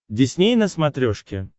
дисней на смотрешке